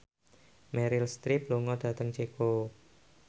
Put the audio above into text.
Meryl Streep lunga dhateng Ceko